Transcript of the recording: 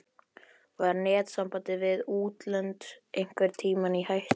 Var netsamband við útlönd einhvern tímann í hættu?